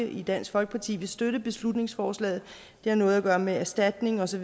i dansk folkeparti vil støtte beslutningsforslaget det har noget at gøre med erstatning og så